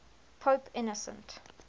pope innocent